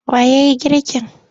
Wa ya yi girkin?